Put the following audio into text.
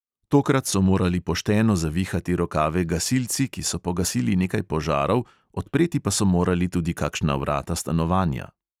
Tokrat so morali pošteno zavihati rokave gasilci, ki so pogasili nekaj požarov, odpreti pa so morali tudi kakšna vrata stanovanja.